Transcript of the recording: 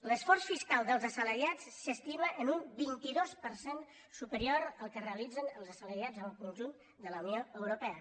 l’esforç fiscal dels assalariats s’estima en un vint dos per cent superior al que realitzen els assalariats en el conjunt de la unió europea